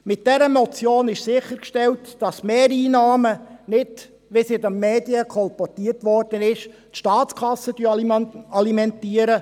Mit dieser Motion ist sichergestellt, dass die Mehreinnahmen – nicht wie es in den Medien kolportiert wurde – die Staatskasse alimentieren.